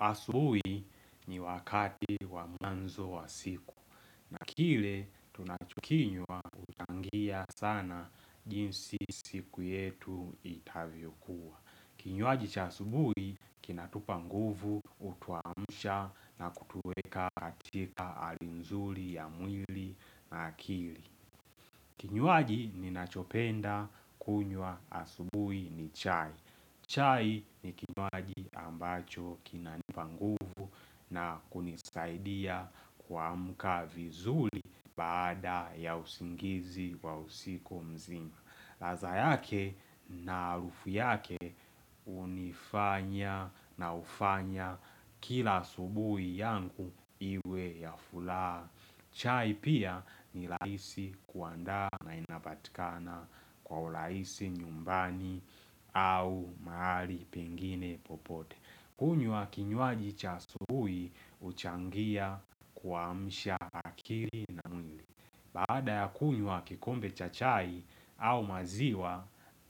Asubuhi ni wakati wamwanzo wa siku. Na kile tunachukinywa huchangia sana jinsi siku yetu itavyo kuwa. Kinywaji cha asubuhi kinatupa nguvu hutuamsha na kutuweka katika halinzuli ya mwili na akili. Kinywaji ni nachopenda kunywa asubuhi ni chai. Chai ni kinwaji ambacho kinanipangu na kunisaidia kuamuka vizuli baada ya usingizi wa usiko mzima. Ladha yake na harufu yake hunifanya na hufanya kila asubuhi yangu iwe ya furaha. Chai pia ni rahisi kuanda na inapatikana kwa urahisi nyumbani au mahali pengine popote. Kunywa kinywaji cha asubuhi huchangia kuamsha aklii na mwili. Baada ya kunywa kikombe chachai au maziwa,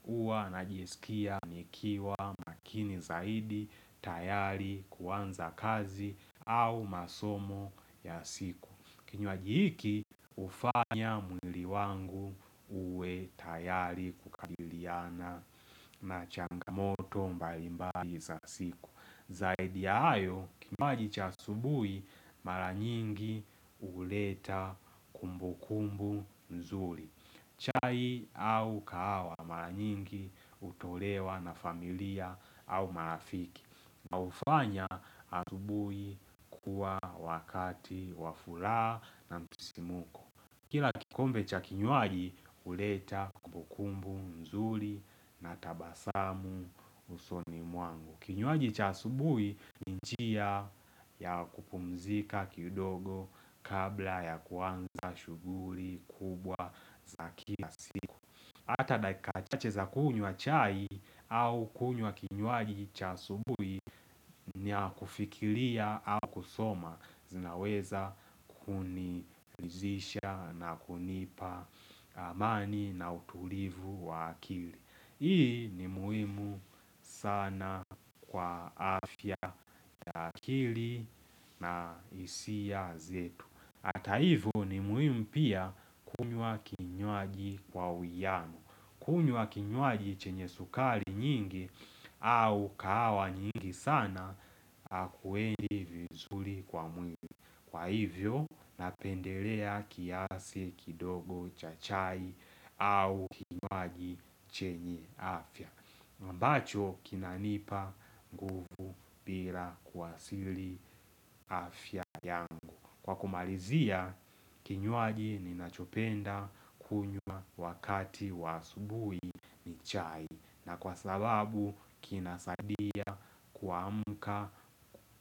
huwa najisikia nikiwa makini zaidi, tayari, kuanza kazi au masomo ya siku. Kinywaji hiki hufanya mwili wangu uwe tayari kukabiliana na changamoto mbalimbaji za siku Zaidi ya hayo kinywaji ch asubuhi mara nyingi huleta kumbu kumbu mzuri chai au kahawa mara nyingi hutolewa na familia au marafiki na hufanya asubuhi kuwa wakati wafuraha na msisimuko Kila kikombe cha kinywaji huleta kumbukumbu nzuri na tabasamu usoni mwangu. Kinywaji cha asubui ni njia ya kupumzika kidogo kabla ya kuanza shughuli kubwa za kila siku. Hata daikachache za kunywa chai au kunywa kinywaji cha asubuhi ni ya kufikilia au kusoma zinaweza kunilizisha na kunipa amani na utulivu wa akili. Hii ni muhimu sana kwa afya ya akili na hisia zetu. Hata hivo ni muhimu pia kunywa kinywaji kwa uiano. Kunywa kinywaji chenye sukari nyingi au kahawa nyingi sana Akuendi vizuri kwa mwili Kwa hivyo napendelea kiasi kidogo chachai au kinywaji chenye afya ambacho kinanipa nguvu bila kuwasili afya yangu Kwa kumalizia, kinywaaji ninachopenda kunywa wakati wa asubuhi ni chai na kwa sababu, kinasadia kuamka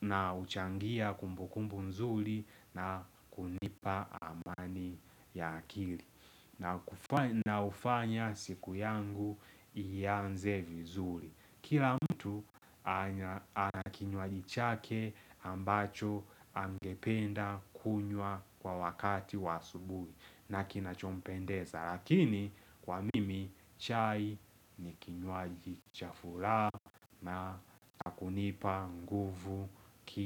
na huchangia kumbukumbu nzuli na kunipa amani ya akili na hufanya siku yangu ianze vizuri Kila mtu anakinywaji chake ambacho angependa kunywa kwa wakati wa asubuhi Nakina chompendeza lakini kwa mimi chai nikinywaji chafuraha na kunipa nguvu ki.